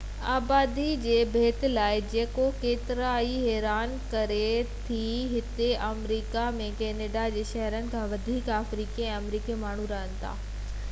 آبادي جي ڀيٽ لاءِ جيڪو ڪيترن کي ئي حيران ڪري ٿي هتي آمريڪا ۾ ڪينيڊا جي شهرين کان وڌيڪ آفريڪي ۽ آمريڪي ماڻهو رهن ٿا